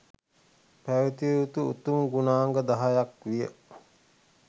පැවැතිය යුතු උතුම් ගුණාංග 10 ක් විය.